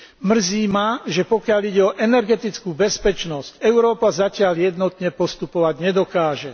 Mrzí ma, že pokiaľ ide o energetickú bezpečnosť, Európa zatiaľ jednotne postupovať nedokáže.